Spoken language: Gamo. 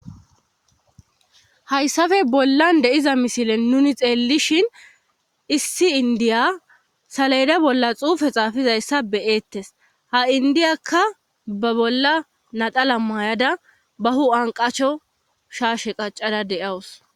hayssafe bollan de'iza misilen nuni xeellishin issi indiya salayda bolla xuufe xaafizayssa beyeettes ha indiyakka ba bolla nadala maayada bahu qacho shaashe qaccada de7awus